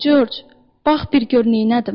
Corc, bax bir gör neynədim.